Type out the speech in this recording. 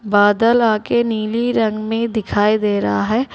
बादल आके नीली रंग में दिखाई दे रहा है।